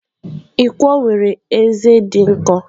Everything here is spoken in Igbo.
Ikwo nwere ezé dị nkọ.